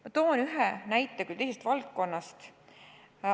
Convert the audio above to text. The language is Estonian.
Ma toon ühe näite, küll teisest valdkonnast.